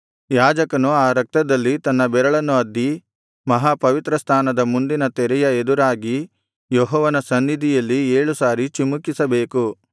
ಯಾಜಕನು ಆ ರಕ್ತದಲ್ಲಿ ತನ್ನ ಬೆರಳನ್ನು ಅದ್ದಿ ಮಹಾಪವಿತ್ರಸ್ಥಾನದ ಮುಂದಿನ ತೆರೆಯ ಎದುರಾಗಿ ಯೆಹೋವನ ಸನ್ನಿಧಿಯಲ್ಲಿ ಏಳು ಸಾರಿ ಚಿಮುಕಿಸಬೇಕು